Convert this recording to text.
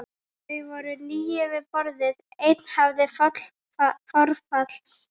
Þau voru níu við borðið, einn hafði forfallast.